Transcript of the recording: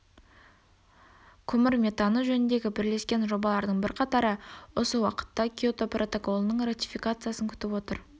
көмір метаны жөніндегі бірлескен жобалардың бірқатары осы уақытта киото протоколының ратификациясын күтіп отыр